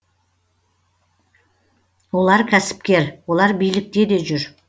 олар кәсіпкер олар билікте де жүр